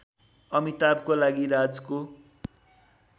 अमिताभको लागि राजको